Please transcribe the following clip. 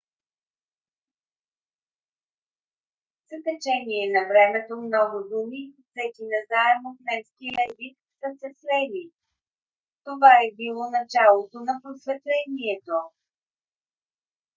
с течение на времето много думи взети назаем от немския език са се слели. това е било началото на просветлението